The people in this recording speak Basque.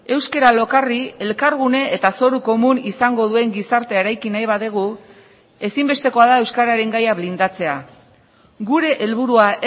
euskara lokarri elkargune eta zoru komun izango duen gizartea eraiki nahi badugu ezinbestekoa da euskararen gaia blindatzea gure helburua